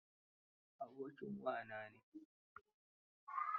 Abokin wa na ne.